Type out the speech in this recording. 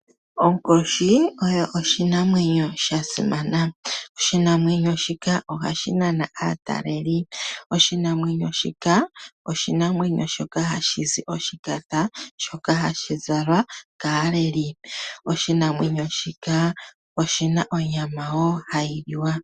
Onkoshi oyo oshimamwenyo sha simana. Oshinamwenyo shika ohashi nana aataleli. Oshinamwenyo shika ohashi zi woo oshipa shoka hashi zalwa kaaleli. Oshi na woo onyama hayi liwa.